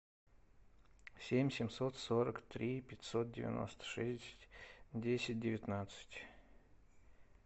семь семьсот сорок три пятьсот девяносто шесть десять девятнадцать